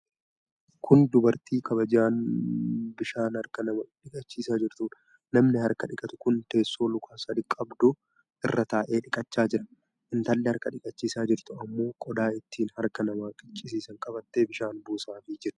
Kun Dubartii kabajaan bishaan harkaa nama dhiqachiisaa jirtuudha. Namni harka dhiqatu kun teessoo luka sadi qabdu irra taa'ee dhiqachaa jira. Intalli harka dhiqachiisaa jirtu ammoo qodaa ittiin harka nama dhiqachiisan qabattee bishaan buusaafi jirti.